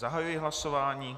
Zahajuji hlasování.